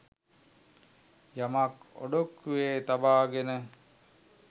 යමක් ඔඩොක්කුවේ තබාගෙන